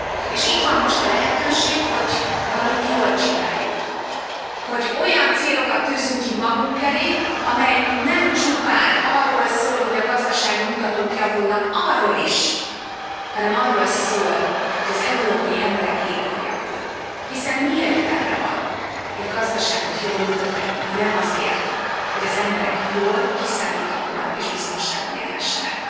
És itt van most a lehetőség, hogy valamit jól csináljunk, hogy olyan célokat tűzzünk ki magunk elé, amelyek nem csupán arról szólnak, hogy a gazdasági mutatók javulnak arról is hanem arról szólnak, hogy az európai emberek élete javul, hiszen mi értelme van egy gazdaságot jól működtetni, ha nem azért, hogy az emberek jól, kiszámíthatóan és biztonságban élhessenek.